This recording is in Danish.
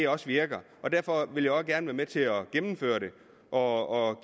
også virker og derfor vil jeg også gerne være med til at gennemføre det og